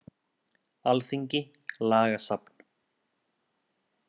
Alþingi- Lagasafn.